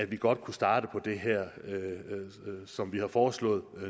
vi godt kan starte på det her som vi har foreslået